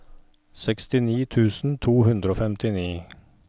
sekstini tusen to hundre og femtini